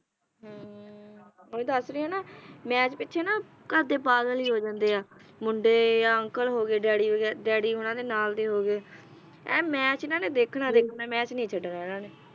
ਹਮ ਓਹੀ ਦੱਸ ਰਹੀ ਹਾਂ ਨਾ ਮੈਚ ਪਿੱਛੇ ਨਾ ਘਰਦੇ ਪਾਗਲ ਹੀ ਹੋ ਜਾਂਦੇ ਆ ਮੁੰਡੇ ਯਾ uncle ਹੋ ਗਏ daddy daddy ਉਨ੍ਹਾਂ ਦੇ ਨਾਲ ਦੇ ਹੋ ਗਏ ਐਨ ਮੈਚ ਇਨ੍ਹਾਂ ਨੇ ਦੇਖਣਾ ਹੀ ਦੇਖਣਾ ਇਨ੍ਹਾਂ ਨੇ ਮੈਚ ਨਹੀਂ ਛੱਡਣਾ ਇਨ੍ਹਾਂ ਨੇ